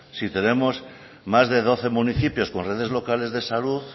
si tenemos más de doce municipios con redes locales de salud